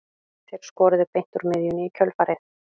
Þeir skoruðu beint úr miðjunni í kjölfarið.